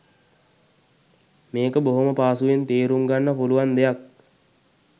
මේක බොහොම පහසුවෙන් තේරුම්ගන්න පුළුවන් දෙයක්.